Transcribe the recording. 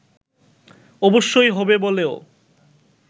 অবশ্যই হবে বলেও